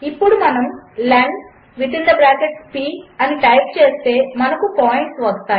ఇప్పుడుమనముlen అనిటైప్చేస్తే మనకుపాయింట్స్వస్తాయి